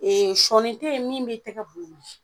sɔɔni te ye min b'i tɛgɛ bu wili